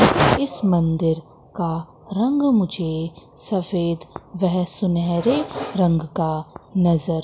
इस मंदिर का रंग मुझे सफेद वह सुनहरे रंग का नजर--